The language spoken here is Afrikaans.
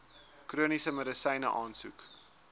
chroniese medisyne aansoek